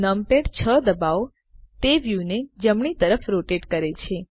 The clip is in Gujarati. નમપેડ 6 ડબાઓ તે વ્યુને જમણી તરફ રોટેટ કરે છે